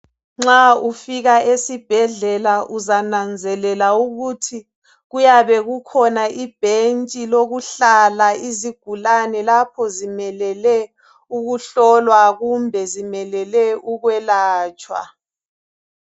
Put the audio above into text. Nxa ufika esibhedlela uzananzelela ukuthi kuyabe kukhona ibhentshi lokuhlala izigulane lapho zimelele ukuhlolwa kumbe zimelele ukwelatshwa.